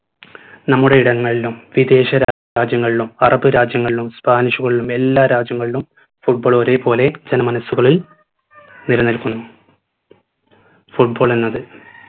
നമ്മുടെ ഇടങ്ങളിലും വിദേശ രാജ്യങ്ങളിലും arab രാജ്യങ്ങളിലും spanish കളിലും എല്ലാ രാജ്യങ്ങളിലും football ഒരേപോലെ ജനമനസുകളിൽ നിലനിൽക്കുന്നു football എന്നത്